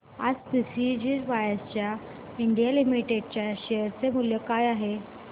आज Precision Wires India Limited च्या share चे मूल्य काय आहे